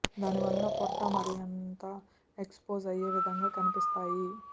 దాని వల్ల పొట్ట మరింత ఎక్స్ పోజ్ అయ్యే విధంగా కనిపిస్తాయి